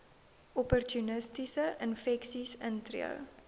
opportunistiese infeksies intree